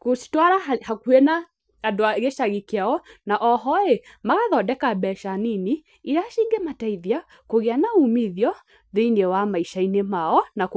gũcitwara hakuhĩ na andũ a gĩcagi kĩao, na oho rĩ, magathondeka mbeca nini, iria cingĩmateithia kũgĩa na umithio, thĩinĩ wa maica-inĩ mao na.